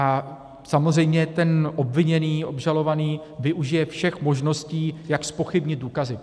A samozřejmě ten obviněný, obžalovaný využije všech možností jak zpochybnit důkazy.